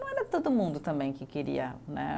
Não era todo mundo também que queria, né?